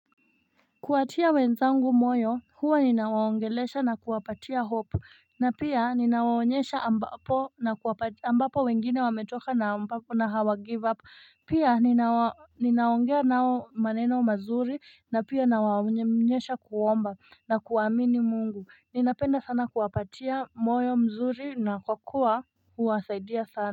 Kuwatia wenzangu moyo, huwa ninawaongelesha na kuwapatia hope na pia ninawaonyesha ambapo wengine wametoka na ambapo na hawa give up, pia ninaongea nao maneno mazuri, na pia ninawaonyesha kuomba na kuamini mungu, ninapenda sana kuwapatia moyo mzuri na kwa kuwa huwasaidia sana.